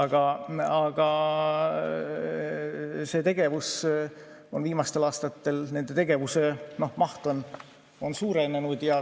Aga see tegevus, nende tegevuse maht on viimastel aastatel suurenenud.